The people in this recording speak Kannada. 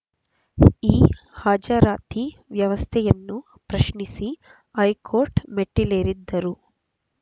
ಈ ಹಾಜರಾತಿ ವ್ಯವಸ್ಥೆಯನ್ನು ಪ್ರಶ್ನಿಸಿ ಹೈಕೋರ್ಟ್ ಮೆಟ್ಟಿಲೇರಿದ್ದರು